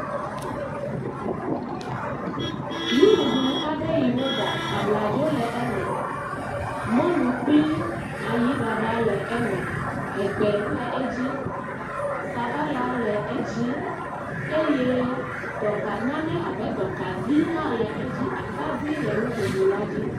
nuɖuɖu aɖe yiwo ɖa abladzo le eme mɔlu kpli ayiɖaɖa le eme egbe le.edzi sabala le.edzi eye dɔka nane abe dɔkavi hã le edzi atadi le nuɖuɖuɔ dzi